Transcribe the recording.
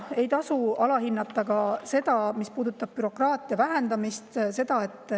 Ei tasu alahinnata ka seda, mis puudutab bürokraatia vähendamist.